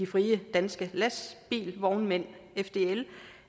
frie danske lastbilvognmænd fdl